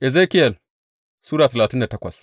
Ezekiyel Sura talatin da takwas